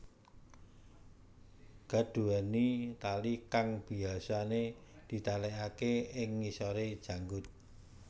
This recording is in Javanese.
Gat duweni tali kang biyasane ditalekake ing ngisore janggut